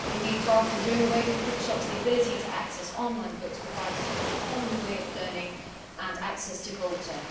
Indeed, far from doing away with bookshops, the ability to access online books provides us with a whole new way of learning and access to culture.